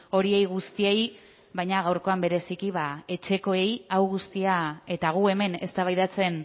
horiei guztiei baina gaurkoan bereziki ba etxekoei hau guztia eta gu hemen eztabaidatzen